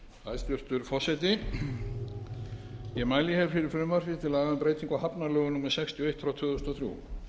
hér fyrir frumvarpi til laga um breytingu á hafnalögum númer sextíu og eitt tvö þúsund og þrjú